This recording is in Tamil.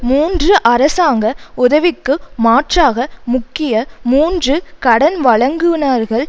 மூன்றுஅரசாங்க உதவிக்கு மாற்றாக முக்கிய மூன்று கடன்வழங்குனர்கள்